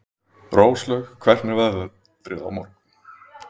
Róslaug, hvernig er veðrið á morgun?